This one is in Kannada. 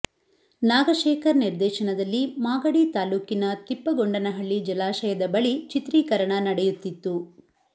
ನಾಗಶೇಖರ್ ನಿರ್ದೇಶನದಲ್ಲಿ ಮಾಗಡಿ ತಾಲ್ಲೂಕಿನ ತಿಪ್ಪಗೊಂಡನಹಳ್ಳಿ ಜಲಾಶಯದ ಬಳಿ ಚಿತ್ರೀಕರಣ ನಡೆಯುತ್ತಿತ್ತು